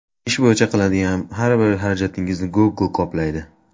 Ish bo‘yicha qiladigan har bir xarajatingizni Google qoplaydi.